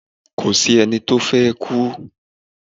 Kò sí ẹni tó fẹ́ kú